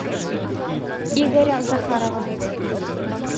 игоря захарова